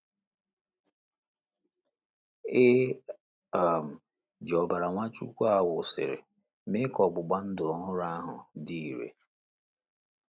E um ji ọbara Nwachukwu a wụsịrị mee ka ọgbụgba ndụ ọhụrụ ahụ dị irè.